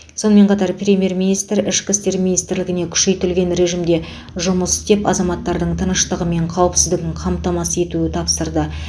сонымен қатар премьер министр ішкі істер министрлігіне күшейтілген режімде жұмыс істеп азаматтардың тыныштығы мен қауіпсіздігін қамтамасыз етуі тапсырды